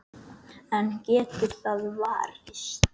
En getur það varist?